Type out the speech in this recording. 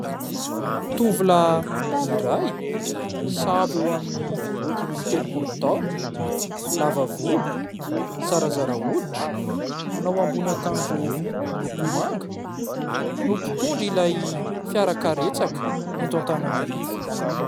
Tovolahy iray sahabo eo amin'ny dimy amby telopolo taona lava volo zarazara hoditra manao ambony akanjo miloko manga no mpitondra ilay fiara karetsaka eto Antananarivo.